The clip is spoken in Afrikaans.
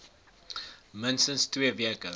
minstens twee weke